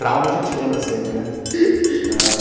Trauma a gente lembra sempre, né?